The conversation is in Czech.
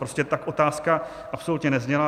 Prostě tak otázka absolutně nezněla.